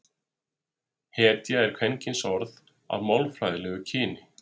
hetja er kvenkynsorð að málfræðilegu kyni